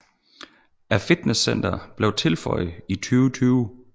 Et fitnesscenter blev tilføjet i 2020